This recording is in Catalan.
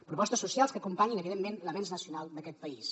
propostes socials que acompanyin evidentment l’avenç nacional d’aquest país